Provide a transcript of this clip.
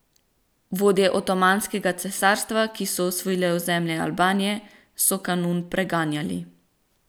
Vodje Otomanskega cesarstva, ki so osvojili ozemlje Albanije, so Kanun preganjali.